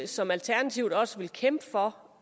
som alternativet også vil kæmpe for